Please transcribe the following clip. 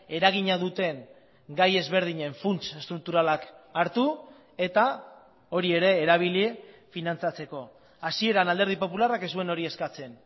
eragina duten gai ezberdinen funts estrukturalak hartu eta hori ere erabili finantzatzeko hasieran alderdi popularrak ez zuen hori eskatzen